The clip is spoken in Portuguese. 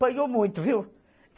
Panhou muito, viu?